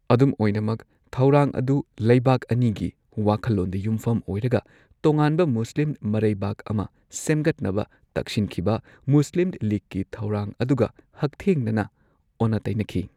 ꯑꯗꯨꯝ ꯑꯣꯏꯅꯃꯛ, ꯊꯧꯔꯥꯡ ꯑꯗꯨ ꯂꯩꯕꯥꯛ ꯑꯅꯤꯒꯤ ꯋꯥꯈꯜꯂꯣꯟꯗ ꯌꯨꯝꯐꯝ ꯑꯣꯏꯔꯒ ꯇꯣꯉꯥꯟꯕ ꯃꯨꯁꯂꯤꯝꯃꯔꯩꯕꯥꯛ ꯑꯃ ꯁꯦꯝꯒꯠꯅꯕ ꯇꯛꯁꯤꯟꯈꯤꯕ, ꯃꯨꯁ꯭ꯂꯤꯝ ꯂꯤꯒꯀꯤ ꯊꯧꯔꯥꯡ ꯑꯗꯨꯒ ꯍꯛꯊꯦꯡꯅꯅ ꯑꯣꯟꯅ ꯇꯩꯅꯈꯤ꯫